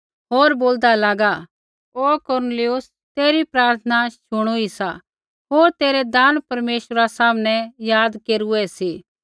होर बोलदा लागा हे कुरनेलियुस तेरी प्रार्थना शुणुई सा होर तेरै दान परमेश्वरा सामनै याद केरूऐ सी